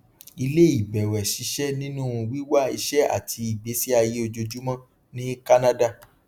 iléìbẹwẹ ṣiṣẹ nínú wíwá iṣẹ àti ìgbésí ayé ojoojúmọ ní kánádà